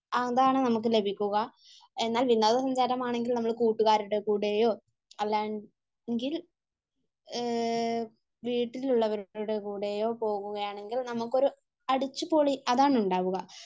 അതാണ് നമുക്ക് ലഭിക്കുക. എന്നാൽ വിനോദ സഞ്ചാരമാണെങ്കിൽ നമ്മൾ കൂട്ടുകാരുടെ കൂടെയോ അല്ലെങ്കിൽ വീട്ടിലുള്ളവരുടെ കൂടെയോ പോകുകയാണെങ്കിൽ നമുക്കൊരു അടിച്ചുപൊളി, അതാണ് ഉണ്ടാവുക.